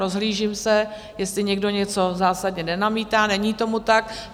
Rozhlížím se, jestli někdo něco zásadně nenamítá, není tomu tak.